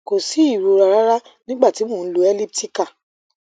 ko si irora rara nigba ti mo n lò elliptical